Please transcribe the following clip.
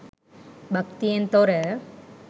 භක්තියෙන් තොර